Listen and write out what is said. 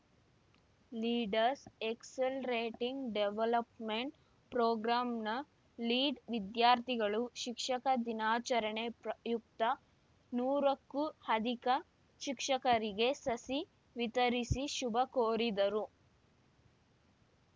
leaders accelerating development ಪ್ರೋಗ್ರಾಮ್‌ನ lead ವಿದ್ಯಾರ್ಥಿಗಳು ಶಿಕ್ಷಕ ದಿನಾಚರಣೆ ಪ್ರಯುಕ್ತ ನೂರಕ್ಕೂ ಅಧಿಕ ಶಿಕ್ಷಕರಿಗೆ ಸಸಿ ವಿತರಿಸಿ ಶುಭಕೋರಿದರು